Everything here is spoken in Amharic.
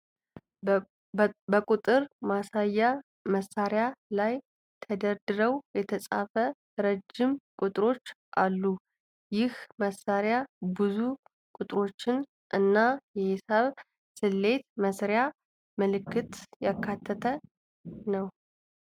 በቁጥር ማስያ መሳሪያ ላይ ተደርድረው የተጻፉ ረጅም ቁጥሮች አሉ። ይህ መሳሪያ ብዙ ቁጥሮችን እና የሂሳብ ስሌት መስሪያ ምልክቶችን ያካተተ ነው።